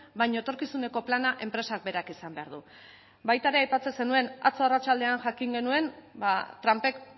baina etorkizuneko plana enpresak berak izan behar du baita ere aipatzen zenuen atzo arratsaldean jakin genuen trumpek